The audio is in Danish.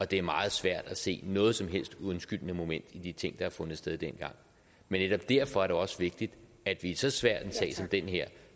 det er meget svært at se noget som helst undskyldende moment i de ting har fundet sted dengang men netop derfor er det også vigtigt at vi i så svær en sag som den her